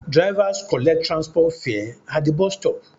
Drivers collect transport fare at the bus stop